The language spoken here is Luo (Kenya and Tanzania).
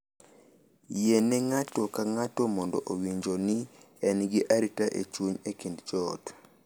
Yiene ng’ato ka ng’ato mondo owinjo ni en gi arita e chuny e kind joot.